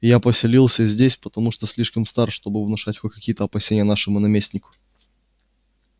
и я поселился здесь потому что слишком стар чтобы внушать хоть какие-то опасения нашему наместнику